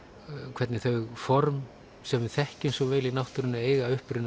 hvernig þau form sem við þekkjum svo vel í náttúrunni eiga uppruna